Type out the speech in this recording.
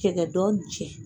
Cɛgɛ dɔ ni cɛ